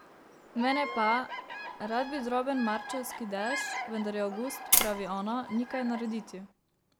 Mene pa, rad bi droben marčevski dež, vendar je avgust, pravi ona, ni kaj narediti.